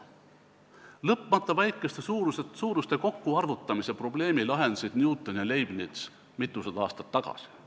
Lõpmata väikeste suuruste kokkuarvutamise probleemi lahendasid Newton ja Leibniz mitusada aastat tagasi.